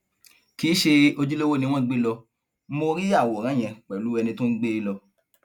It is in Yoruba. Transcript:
kì í ṣe ojúlówó ni wọn gbé lọ mọ rí àwòrán yẹn pẹlú ẹni tó ń gbé e lọ